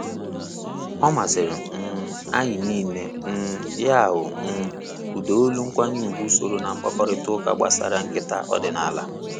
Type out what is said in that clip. Ọmasiri um anyị nile um ya wụ um ụda olu nkwanye ùgwù soro mkpakarịta ụka gbasara nketa ọdịnala.